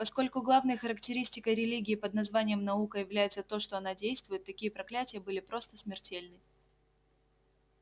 поскольку главной характеристикой религии под названием наука является то что она действует такие проклятия были просто смертельны